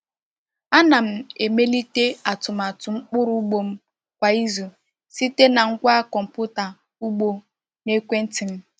A na m emelite atụmatụ mkpụrụ ugbo m kwa izu site na ngwa kọmpụta ugbo n’ekwenti m.